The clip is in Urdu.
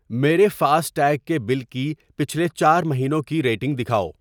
میرے فاسٹیگ کے بل کی پچھلے چار مہینوں کی ریڈنگ دکھاؤ۔